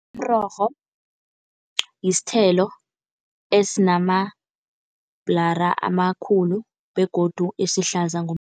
Umrorho yisithelo esinamabhurala amakhulu begodu esihlaza